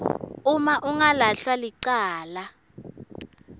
uma angalahlwa licala